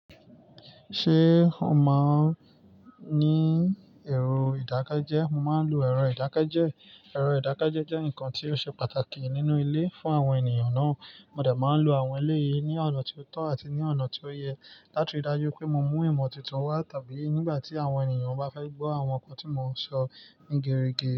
Ṣé o ma n ní ẹ̀rọ ìdákẹ́jẹ́? Mo máa ń lo ẹ̀rọ ìdákẹ́jẹ́. Ẹ̀rọ ìdákẹ́jẹ́ jẹ́ nǹkan tí ó ṣe pàtàkì nínú ilé fún àwọn ènìyàn náà. Mo dà má ń lo àwọn ilé yìí ní ọ̀nà tí ó tọ́ àti ní ọ̀nà tí ó yẹ láti ri dájú pé mo mú ìmọ̀ titun wá tàbí nígbà tí àwọn ènìyàn bá fẹ́ gbọ́ àwọn nǹkan tí mo ti sọ ní gere ge.